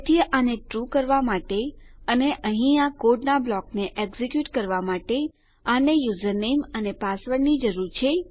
તેથી આને ટ્રૂ કરવા માટે અને અહીં આ કોડનાં બ્લોકને એક્ઝેક્યુટ કરવા માટે આને યુઝરનેમ અને પાસવર્ડ ની જરૂર છે